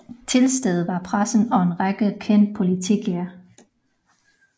Tilstede var pressen og en række kendte politikere